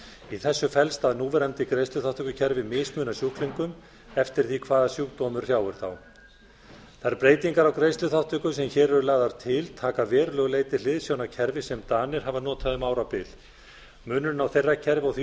í þessu felst að núverandi greiðsluþátttökukerfi mismunar sjúklingum eftir því hvaða sjúkdómur hrjáir þá þær breytingar á greiðsluþátttöku sem hér eru lagðar til taka að verulegu leyti hliðsjón af kerfi sem danir hafa notað um árabil munurinn á þeirra kerfi og því